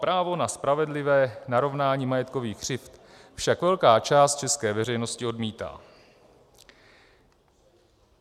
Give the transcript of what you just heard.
Právo na spravedlivé narovnání majetkových křivd však velká část české veřejnosti odmítá.